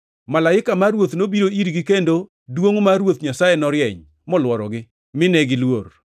Malaika mar Ruoth nobiro irgi kendo duongʼ mar Ruoth Nyasaye norieny, molworogi, mine giluor.